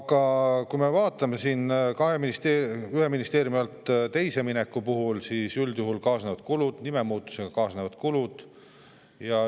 Aga kui me vaatame ühe ministeeriumi alt teise alla minekut, siis üldjuhul kaasnevad kulud, juba nime muutusega kaasnevad kulud.